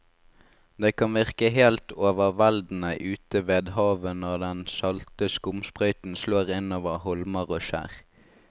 Det kan virke helt overveldende ute ved havet når den salte skumsprøyten slår innover holmer og skjær.